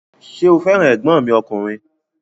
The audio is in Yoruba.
Ṣé o fẹ́ràn ẹ̀gbọ́n mi ọkùnrin?